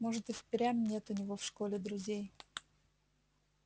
может и впрямь нет у него в школе друзей